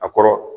A kɔrɔ